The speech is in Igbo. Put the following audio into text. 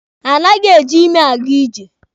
Anaghị eji imi aga ije.